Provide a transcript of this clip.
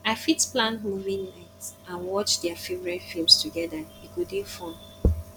i fit plan movie night and watch dia favorite films together e go dey fun